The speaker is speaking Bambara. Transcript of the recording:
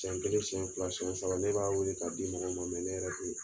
Siyɛn kelen siyɛn fila siyɛn saba ne b'a weele k'a di mɔgɔw ma ne yɛrɛ tɛ